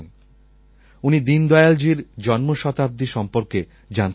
উনি দীনদয়ালজীর জন্মশতাব্দী সম্বন্ধে জানতে চেয়েছেন